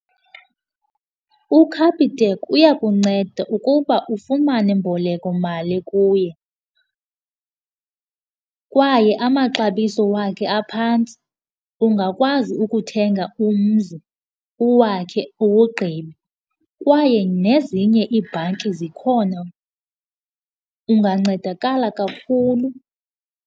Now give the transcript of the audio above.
UCapitec uyakunceda ukuba ufumane imbolekomali kuye kwaye amaxabiso wakhe aphantsi. Ungakwazi ukuthenga umzi, uwakhe uwugqibe, kwaye nezinye iibhanki zikhona. Ungancedakala kakhulu.